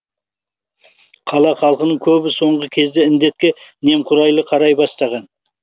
қала халқының көбі соңғы кезде індетке немқұрайлы қарай бастаған